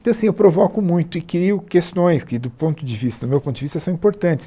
Então, assim, eu provoco muito e crio questões que, do ponto de vista meu ponto de vista, são importantes.